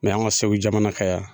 Mɛ an ka segu jamana kan yan